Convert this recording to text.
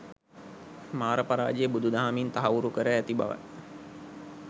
මාර පරාජය බුදු දහමින් තහවුරු කර ඇති බව යි.